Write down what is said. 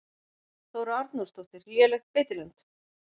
Þóra Arnórsdóttir: Lélegt beitiland?